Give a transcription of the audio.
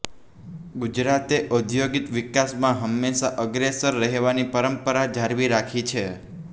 ગુજરાતે ઔદ્યોગિક વિકાસમાં હંમેશા અગ્રેસર રહેવાની પરંપરા જાળવી રાખી છે